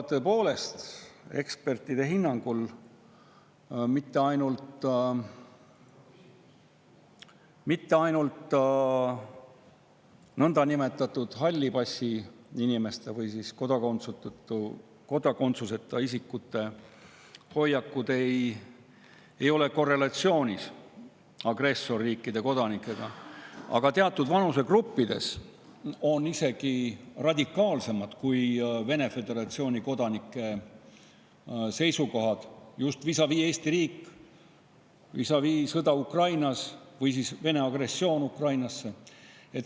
Tõepoolest, ekspertide hinnangul ei ole nõndanimetatud hallipassiinimeste või kodakondsuseta isikute hoiakud mitte ainult korrelatsioonis agressorriikide kodanike omadega, vaid teatud vanusegruppides on isegi radikaalsemad kui Vene föderatsiooni kodanike seisukohad, just vis-à-vis Eesti riik, vis-à-vis sõda Ukrainas või Vene agressioon Ukrainas.